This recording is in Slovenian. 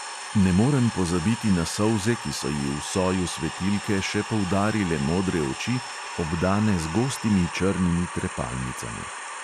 Ne morem pozabiti na solze, ki so ji v soju svetilke še poudarile modre oči, obdane z gostimi črnimi trepalnicami.